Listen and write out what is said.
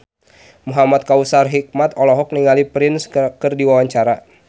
Muhamad Kautsar Hikmat olohok ningali Prince keur diwawancara